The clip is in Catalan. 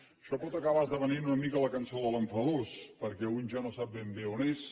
això pot acabar esdevenint una mica la cançó de l’enfadós perquè un ja no sap ben bé on és